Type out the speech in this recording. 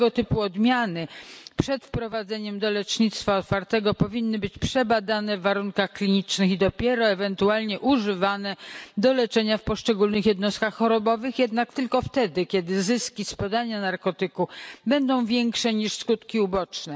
Tego typu odmiany przed wprowadzeniem do lecznictwa otwartego powinny być przebadane w warunkach klinicznych i dopiero ewentualnie używane do leczenia w poszczególnych jednostkach chorobowych, jednak tylko wtedy, kiedy zyski z podania narkotyku będą większe niż skutki uboczne.